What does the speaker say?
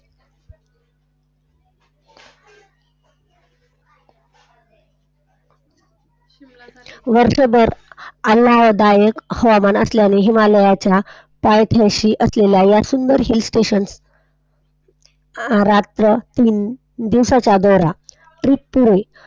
वर्षभर आह्लाददायक हवामान असल्याने हिमालयात पायथ्याशी असलेल्या या सुंदर सृष्टी दोन ते तीन दिवसाचा दौरा पुरे.